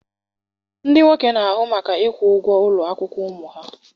Ndị nwoke na-ahụ maka ịkwụ ụgwọ ụlọ akwụkwọ ụmụ ha.